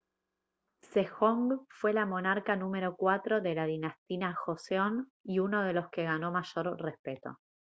sejong fue el monarca número cuatro de la dinastía joseon y uno de los que ganó mayor respeto